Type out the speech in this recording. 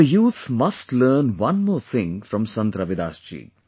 Our youth must learn one more thing from Sant Ravidas ji